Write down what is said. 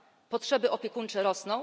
Potrzeby opiekuńcze rosną.